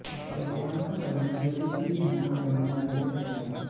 परिवार का कर्म ज्योतिषी की गणना करने में मदद करेगा